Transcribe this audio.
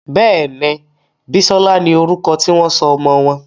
Béèni Bisola ní orúko tí wón sọ ọmọ wón.